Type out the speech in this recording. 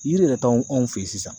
Yiri yɛrɛ t'anw anw fɛ ye sisan.